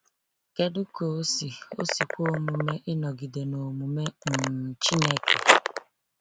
Kedu ka o si o si kwe omume ịnọgide na omume um Chineke?